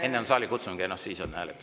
Enne on saalikutsung ja siis on hääletus.